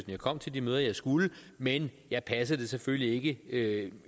jeg kom til de møder jeg skulle men jeg passede det selvfølgelig ikke